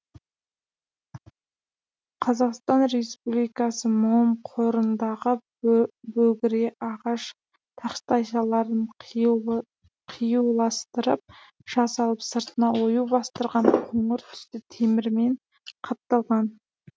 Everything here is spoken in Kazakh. қазақстан республикасы мом қорындағы бөгіре ағаш тақтайшаларын қиюластырып жасалып сыртына ою бастырған қоңыр түсті темірмен қапталған